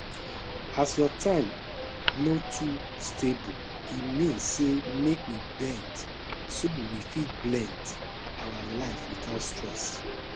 as your time no too stable e mean say make we bend so we fit blend our life without stress